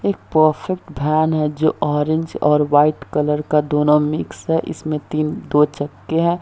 एक perfect van है जो ऑरेंज और व्हाइट कलर का दोनों मिक्स है इसमें तीन दो चक्के है।